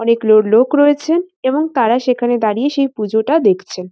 অনেক লো লোক রয়েছে এবং তারা সেখানে দাঁড়িয়ে সেই পুজোটা দেখছে।